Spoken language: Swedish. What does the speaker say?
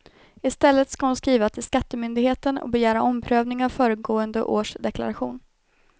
I stället skall hon skriva till skattemyndigheten och begära omprövning av föregående års deklaration.